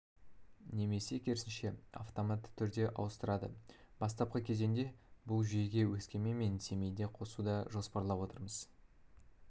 немесе керісінше автоматты түрде ауыстырады бастапқы кезеңде бұл жүйеге өскемен мен семейде қосуды жоспарлап отырмыз